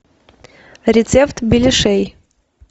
рецепт беляшей